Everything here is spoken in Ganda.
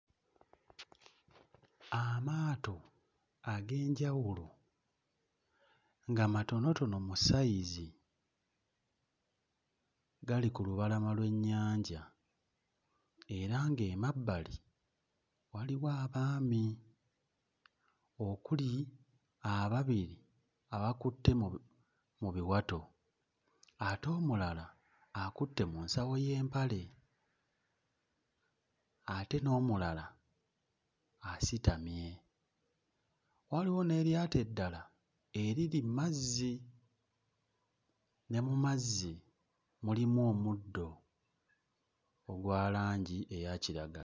Amaato ag'enjawulo nga matonotono mu sayizi gali ku lubalama lw'ennyanja era ng'emabbali waliwo abaami okuli ababiri abakutte mu bi mu biwato, ate omulala akutte mu mpale y'ensawo y'empale ate n'omulala asitamye waliwo n'eryato eddala eriri mu mazzi ne mu mazzi mulimu omuddo ogwa langi eya kiragala.